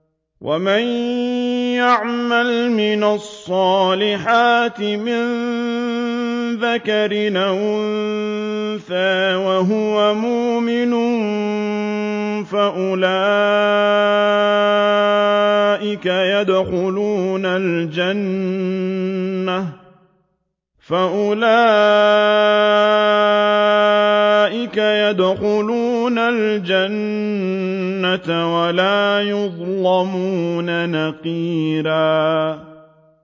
وَمَن يَعْمَلْ مِنَ الصَّالِحَاتِ مِن ذَكَرٍ أَوْ أُنثَىٰ وَهُوَ مُؤْمِنٌ فَأُولَٰئِكَ يَدْخُلُونَ الْجَنَّةَ وَلَا يُظْلَمُونَ نَقِيرًا